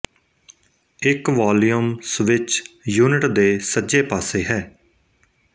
ਇੱਕ volume switch unit ਦੇ ਸੱਜੇ ਪਾਸੇ ਹੈ